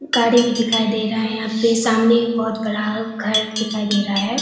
गाड़ी भी दिखाई दे रहा है यहां पे सामने बहोत गड़ा घर दिखाई दे रहा है।